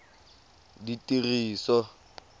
ditiriso